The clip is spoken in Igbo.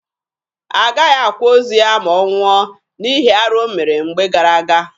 Agaghị akwa ozu ya ma ọ nwụọ, n'ihi arụ o mere mgbe gara aga.